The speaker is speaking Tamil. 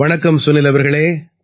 வணக்கம் சுனில் அவர்களே